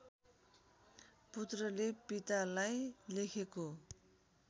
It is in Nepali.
पुत्रले पितालाई लेखेको